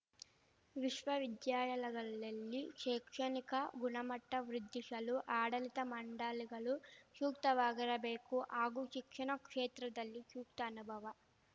ವಿಶ್ವವಿದ್ಯಾಲಯಗಳಲ್ಲಿ ಶೈಕ್ಷಣಿಕ ಗುಣಮಟ್ಟವೃದ್ಧಿಶಲು ಆಡಳಿತ ಮಂಡಳಿಗಳು ಶೂಕ್ತವಾಗಿರಬೇಕು ಹಾಗೂ ಶಿಕ್ಷಣ ಕ್ಷೇತ್ರದಲ್ಲಿ ಶೂಕ್ತ ಅನುಭವ